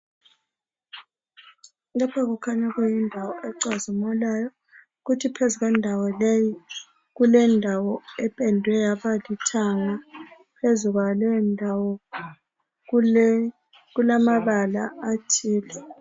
Lapha kukhanya kuyindawo ecazimulayo kuthi phezu kwendawo leyi kulendawo ependwe yaba lithanga phezu kwaleyo ndawo kulamabala athile.